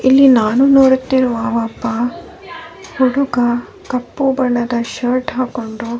ಇಲ್ಲಿ ನಾನು ನೋಡುತ್ತಿರುವ ಒಬ್ಬ ಕುಡುಕ ಕಪ್ಪು ಬಣ್ಣದ ಶರ್ಟ್ ಹಾಕ್ಕೊಂಡು --